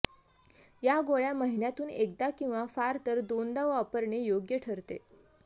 या गोळ्या महिन्यातून एकदा किंवा फारतर दोनदा वापरणे योग्य ठरते